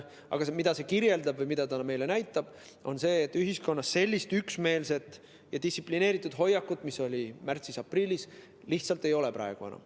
Aga see kirjeldab või näitab meile seda, et ühiskonnas sellist üksmeelset ja distsiplineeritud hoiakut, mis oli märtsis-aprillis, praegu enam lihtsalt ei ole.